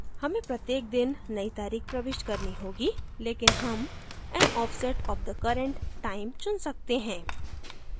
हमें प्रत्येक दिन नई तारीख प्रविष्ट करनी होगी लेकिन हम an offset of the current time चुन सकते हैं